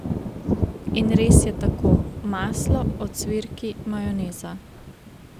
In res je tako, maslo, ocvirki, majoneza ...